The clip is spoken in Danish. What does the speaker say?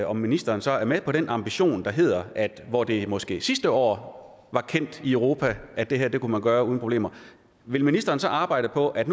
om ministeren så er med på den ambition der hedder at hvor det måske sidste år var kendt i europa at det her kunne man gøre uden problemer vil ministeren så arbejde på at